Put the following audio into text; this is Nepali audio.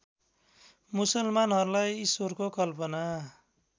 मुसलमानहरूलाई इश्वरको कल्पना